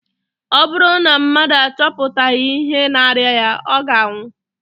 Ọ bụrụ na mmadụ achọpụtaghị ihe na-arịa ya, ọ ga-anwụ